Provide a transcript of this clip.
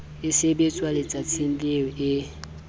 e sebetswa letsatsing leo e